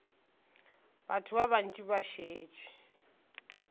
batho ba bantši ba šetše